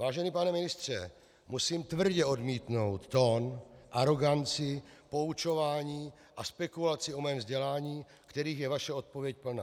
Vážený pane ministře, musím tvrdě odmítnout tón, aroganci, poučování a spekulaci o mém vzdělání, kterých je vaše odpověď plná.